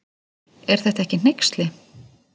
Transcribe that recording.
Er þetta ekki hneyksli.